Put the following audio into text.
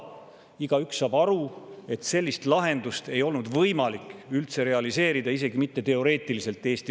Igaüks saab aru, et sellist lahendust ei olnud Eesti õigusruumis võimalik üldse realiseerida, isegi mitte teoreetiliselt.